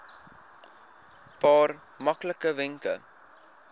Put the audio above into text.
paar maklike wenke